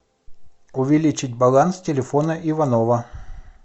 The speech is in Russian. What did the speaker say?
увеличить баланс телефона иванова